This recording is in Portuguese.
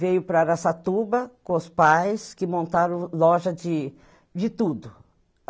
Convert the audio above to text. Veio para Araçatuba com os pais que montaram loja de de tudo.